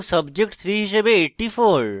subject 3 হিস়াবে 84